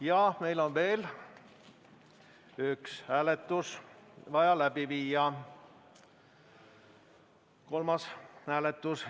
Ja meil on vaja veel üks hääletus läbi viia, kolmas hääletus.